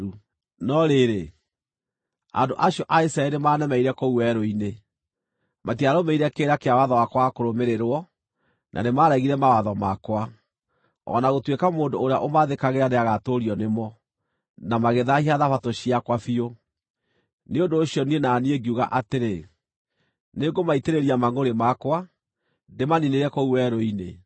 “ ‘No rĩrĩ, andũ acio a Isiraeli nĩmanemeire kũu werũ-inĩ. Matiarũmĩrĩire kĩrĩra kĩa watho wakwa wa kũrũmĩrĩrwo, na nĩmaregire mawatho makwa, o na gũtuĩka mũndũ ũrĩa ũmathĩkagĩra nĩagatũũrio nĩmo, na magĩthaahia Thabatũ ciakwa biũ. Nĩ ũndũ ũcio niĩ na niĩ ngiuga atĩrĩ, nĩngũmaitĩrĩria mangʼũrĩ makwa, ndĩmaniinĩre kũu werũ-inĩ.